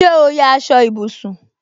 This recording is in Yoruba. Ṣé o ya aṣọ ìbùsùn